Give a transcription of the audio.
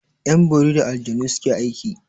Yan bori da aljanu suke aiki.